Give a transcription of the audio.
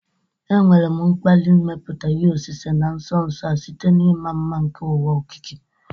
Enwere m mkpali ịmepụta ihe osise na nso nso a site na ịma mma nke ụwa okike.